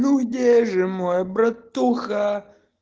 ну где же мой братуха